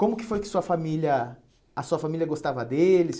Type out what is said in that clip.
Como que foi que sua família... A sua família gostava dele?